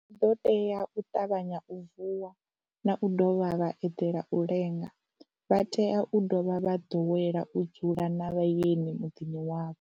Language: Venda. Vha ḓo tea u ṱavhanya u vuwa na u dovha vha eḓela u lenga, vha tea u dovha vha ḓowela u dzula na vhaeni muḓini wavho.